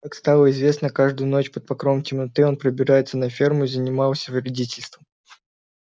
как стало известно каждую ночь под покровом темноты он пробирался на ферму и занимался вредительством